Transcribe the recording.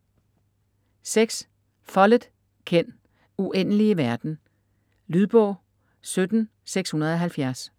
Follett, Ken: Uendelige verden Lydbog 17670